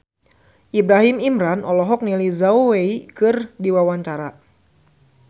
Ibrahim Imran olohok ningali Zhao Wei keur diwawancara